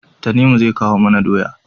Tanimu zai kawo mana doya